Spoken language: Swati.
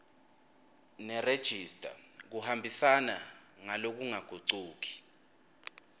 nerejista kuhambisana ngalokungagucuki